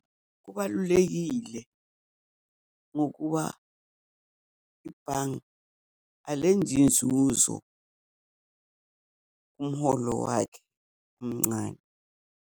Kubalulekile ngokuba ibhange alenzi inzuzo kumholo wakhe omncane.